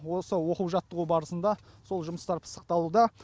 осы оқу жаттығу барысында сол жұмыстар пысықталуда